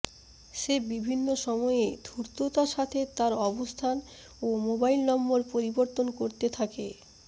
সে বিভিন্ন সময়ে ধূর্ততার সাথে তার অবস্থান ও মোবাইল নম্বর পরিবর্তন করতে থাকে